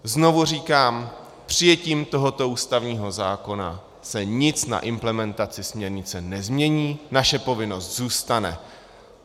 Znovu říkám, přijetím tohoto ústavního zákona se nic na implementaci směrnice nezmění, naše povinnost zůstane.